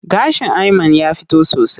Gashin Ayman ya fito sosai.